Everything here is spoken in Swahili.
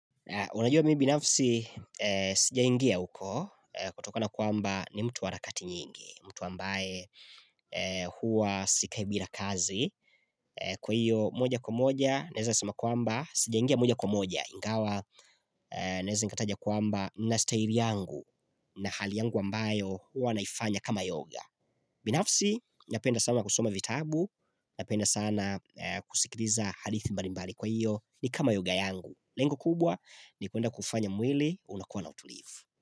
Unajua mimi binafsi, sijaingia huko, kutokona kwamba, ni mtu warakati nyingi, mtu ambaye huwa sikai bira kazi. Kwa hiyo, moja kwa moja, naweza sema kwamba, sijaingia moja kwa moja. Ingawa, naweza nikataja kwamba na staili yangu, na hali yangu ambayo, huwa naifanya kama yoga. Binafsi, napenda sana kusoma vitabu, napenda sana, kusikiriza hadithi mbalimbali kwa hiyo ni kama yoga yangu. Lengo kubwa, ni kwenda kufanya mwili unakuwa na utulivu.